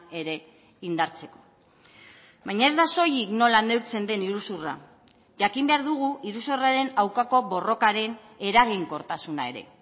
ere indartzeko baina ez da soilik nola neurtzen den iruzurra jakin behar dugu iruzurraren aurkako borrokaren eraginkortasuna ere